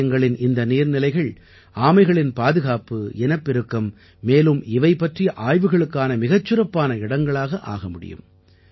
ஆலயங்களின் இந்த நீர்நிலைகள் ஆமைகளின் பாதுகாப்பு இனப்பெருக்கம் மேலும் இவை பற்றிய ஆய்வுகளுக்கான மிகச் சிறப்பான இடங்களாக ஆக முடியும்